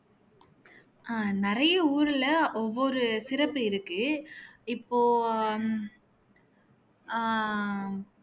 ஆஹ் நிறைய ஊர்ல ஒவ்வொரு சிறப்பு இருக்கு இப்போ ஆஹ்